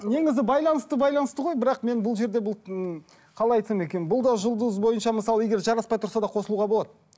негізі байланысты байланысты ғой бірақ мен бұл жерде бұл м қалай айтсам екен бұл да жұлдыз бойынша мысалы егер жараспай тұрса да қосылуға болады